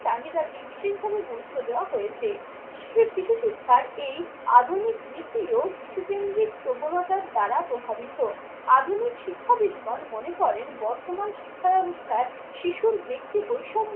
চাহিদাকে বিশেষভাবে গুরুত্ব দেওয়া হয়েছে। শিশু শিক্ষার এই আধুনিক রীতি ও শিশু কেন্দ্রিক প্রবণতার দ্বারা প্রভাবিত। আধুনিক শিক্ষাবিদগণ মনে করেন বর্তমান শিক্ষা ব্যাবস্থায় শিশুর ব্যক্তি বৈষম্য